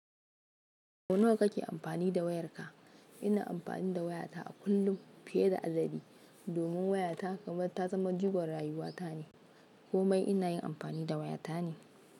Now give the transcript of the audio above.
Sau nawa kake amfani da wayarka? Ina amfani da wayata a kullum fiye da adadi domin waya ta kamar ta zama jigon rayuwa ta ne. Komai ina yin amfani da waya ta ne.